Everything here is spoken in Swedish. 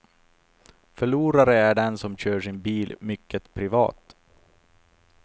Förlorare är den som kör sin bil mycket privat.